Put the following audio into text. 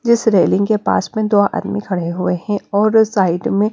जिस रेलिंग के पास में दो आदमी खड़े हुए हैं और साइड में--